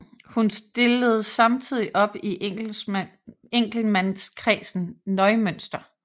Hun stillede samtidig op i enkeltmandskredsen Neumünster